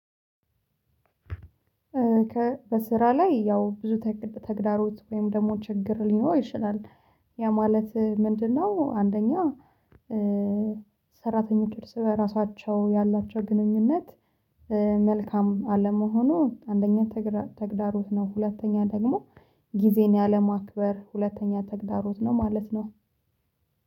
ከ በስራ ላይ ያው ብዙ ተግዳሮት ወይም ደግሞ ችግር ሊኖረው ይችላል ያ ማለት ምንድነው? አንደኛ ሰራተኞች እርስ በራሳቸው ያላቸው ግንኙነት መልካም አለመሆኑ አንደኛ ተግዳሮት ነው። ሁለተኛ ደግሞ ጊዜን ያለማክበር ሁለተኛ ተግዳሮት ነው። ማለት ነው